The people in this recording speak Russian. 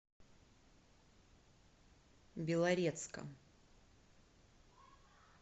белорецком